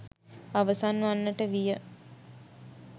අවසන් වන්නට විය.